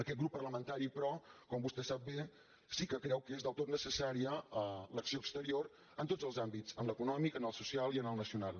aquest grup parlamentari però com vostè sap bé sí que creu que és del tot necessària l’acció exterior en tots els àmbits en l’econòmic en el social i en el na·cional